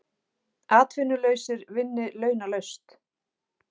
Atvinnulausir vinni launalaust